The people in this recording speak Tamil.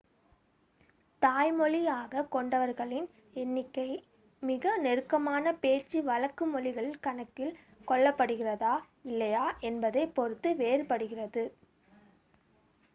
தாய்மொழியாகக் கொண்டவர்களின் எண்ணிக்கை மிக நெருக்கமான பேச்சு வழக்கு மொழிகள் கணக்கில் கொள்ளப்படுகிறதா இல்லையா என்பதைப் பொறுத்து வேறுபடுகிறது